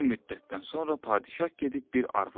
Bir müddətdən sonra padşah gedib bir arvad alır.